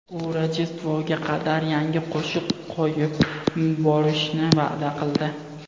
U Rojdestvoga qadar yangi qo‘shiq qo‘yib borishni va’da qildi.